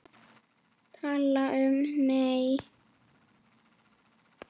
Tala um, nei!